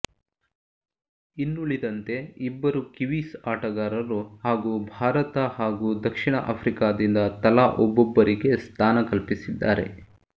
ಇನ್ನುಳಿದಂತೆ ಇಬ್ಬರು ಕಿವೀಸ್ ಆಟಗಾರರು ಹಾಗೂ ಭಾರತ ಹಾಗೂ ದಕ್ಷಿಣ ಆಫ್ರಿಕಾದಿಂದ ತಲಾ ಒಬ್ಬೊಬ್ಬರಿಗೆ ಸ್ಥಾನ ಕಲ್ಪಿಸಿದ್ದಾರೆ